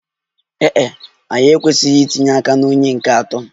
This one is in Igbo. Ee e, anyị ekwesịghị itinye aka na onye nke atọ.